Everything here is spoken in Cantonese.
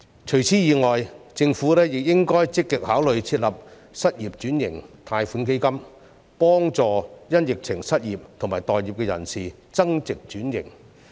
除此以外，政府亦應該積極考慮設立失業轉型貸款基金，協助因疫情而失業及待業的人增值轉型。